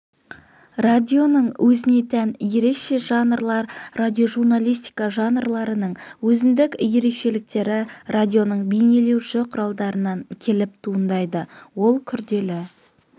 радионың өзіне тән ерекше жанрлар радиожурналистика жанрларының өзіндік ерекшеліктері радионың бейнелеуші құралдарынан келіп туындайды ол күрделі